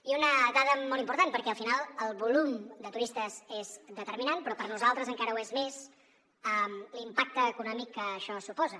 i una dada molt important perquè al final el volum de turistes és determinant però per nosaltres encara ho és més l’impacte econòmic que això suposa